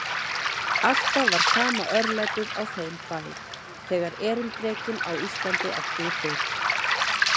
Alltaf var sama örlætið á þeim bæ, þegar erindrekinn á Íslandi átti í hlut.